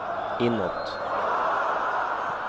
inåt